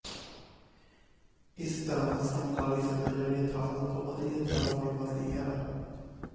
ਇਸ ਤਰ੍ਹਾਂ ਸਮਕਾਲੀ ਸਭਿਆਚਾਰ ਯਥਾਰਥ ਤੋਂ ਅਤਿ ਯਥਾਰਥ ਵੱਲ ਵੱਧਦੀ ਹੈ